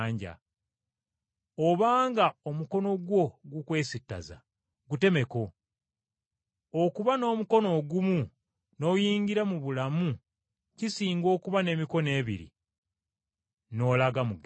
Obanga omukono gwo gukwesittaza, gutemeko! Kisinga okuyingira mu bulamu ng’ogongobadde okusinga okuba n’emikono ebiri n’olaga mu ggeyeena,